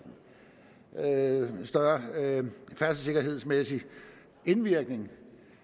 større færdselssikkerhedsmæssig indvirkning